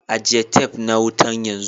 Ajiye tef na wutan yanzu.